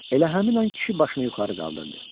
Elə həmin an kişi başını yuxarı qaldırdı.